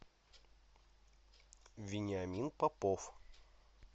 вениамин попов